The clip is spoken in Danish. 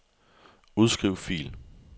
Udskriv fil.